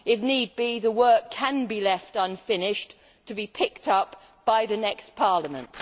If need be the work can be left unfinished to be picked up by the next Parliament.